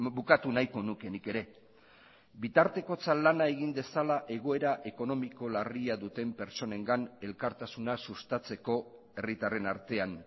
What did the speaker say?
bukatu nahiko nuke nik ere bitartekotza lana egin dezala egoera ekonomiko larria duten pertsonengan elkartasuna sustatzeko herritarren artean